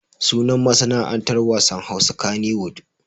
Sunan masana'antar wasan Hausa kaniwud.